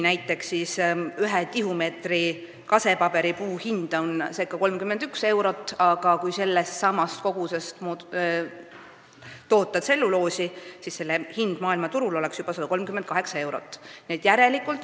Näiteks ühe tihumeetri kasepaberipuu hind on ca 31 eurot, aga kui sellestsamast kogusest toota tselluloosi, siis selle hind maailmaturul oleks juba 138 eurot.